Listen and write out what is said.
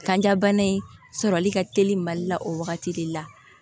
Kanja bana in sɔrɔli ka teli mali la o wagati de la